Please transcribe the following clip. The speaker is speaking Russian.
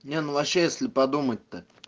нет ну вообще если подумать то